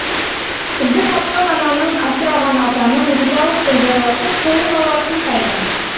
бізді тапқан ананың асыраған атаның ризалықпен жайласып қолын алар күн қайда